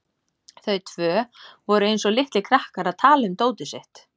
Þau tvö voru eins og litlir krakkar að tala um dótið sitt.